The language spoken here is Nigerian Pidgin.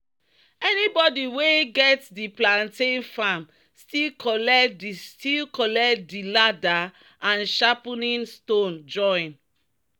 "anybody wey get di plantain farm still collect di still collect di ladder and sharpening stone join."